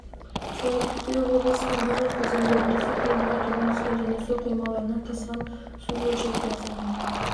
сәуірде облыстың барлық өзендерінде су деңгейі төмен түскен және су қоймаларынан тасыған су мөлшері де азайған